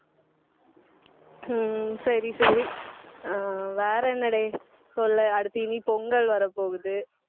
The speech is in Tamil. உம் சரி, சரி ஆஹ் வேற என்னடே சொல்லு அடுத்து இனி பொங்கல் வரப்போகுது.